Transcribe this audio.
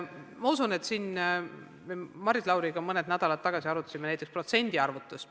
Me arutasime Maris Lauriga mõned nädalad tagasi näiteks protsendi arvutust.